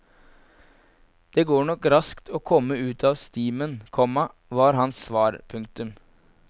Det går nok raskt å komme ut av stimen, komma var hans svar. punktum